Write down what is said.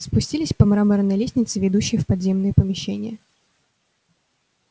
спустились по мраморной лестнице ведущей в подземные помещения